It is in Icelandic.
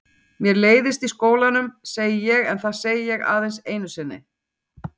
Mér leiðist í skólanum, segi ég en það segi ég aðeins einu sinni.